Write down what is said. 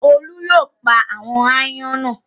Olú yóò pa àwọn aáyán náà!